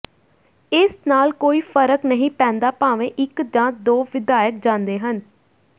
ਇਸ ਨਾਲ ਕੋਈ ਫਰਕ ਨਹੀਂ ਪੈਂਦਾ ਭਾਵੇਂ ਇਕ ਜਾਂ ਦੋ ਵਿਧਾਇਕ ਜਾਂਦੇ ਹਨ